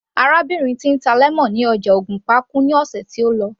Arábìnrin tí ń ta lemon ní ọjà ògùnpa kú ní ọ̀sẹ̀ tó lọ